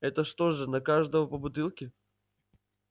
это что же на каждого по бутылке